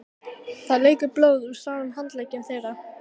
Það lekur blóð úr sárum handleggjum þeirra.